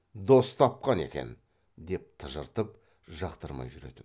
дос тапқан екен деп тыжыртып жақтырмай жүретін